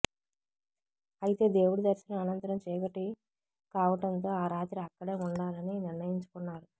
అయితే దేవుడి దర్శనం అనంతరం చీకటి కావటంతో ఆ రాత్రి అక్కడే ఉండాలని నిర్ణయించుకున్నారు